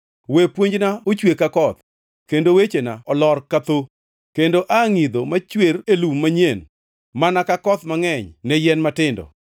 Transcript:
We puonjna ochwe ka koth kendo wechena olor ka thoo, kendo a ngʼidho machwer e lum manyien mana ka koth mangʼeny ne yien matindo.